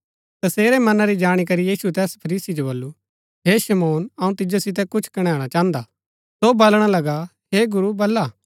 तसेरै मना री जाणी करी यीशुऐ तैस फरीसी जो बल्लू हे शिमौन अऊँ तिजो सितै कुछ कणैणा चाहन्दा सौ बलणा लगा हे गुरू बल्ला